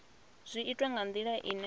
zwi itwa nga ndila ine